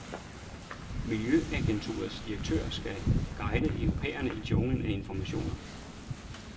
Miljøagenturets direktør skal guide europæerne i junglen af informationer.